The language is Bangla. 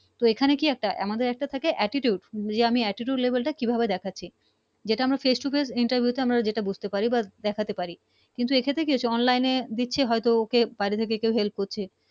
তো এখানে কি একটা আমাদের একটা থাকে Attitude যে আমি Attitude Level টা কি ভাবে দেখাছি যে আমরা Face to Face Interview আমরা যেটা বুঝতে পার বা দেখাতে পারি কিন্তু এক্ষেত্রে Online এ দেখছি হয়তো ওকে বাহিরে থেকে কেও Help করছে